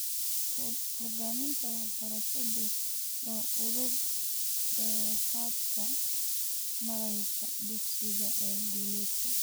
Hoggaaminta waxbarashadu waa udub-dhexaadka maaraynta dugsiga ee guuleysta.